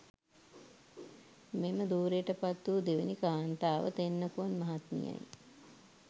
මෙම ධුරයට පත් වු දෙවැනි කාන්තාව තෙන්නකෝන් මහත්මියයි.